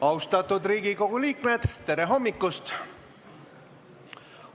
Austatud Riigikogu liikmed, tere hommikust!